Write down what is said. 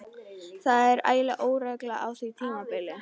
Það var ægileg óregla á því tímabili.